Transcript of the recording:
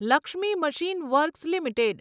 Lakshmi machine works limited